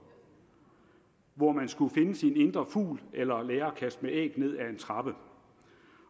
hvor man skulle finde sin indre fugl eller lære at kaste æg ned ad en trappe